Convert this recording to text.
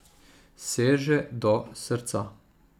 Seže do srca.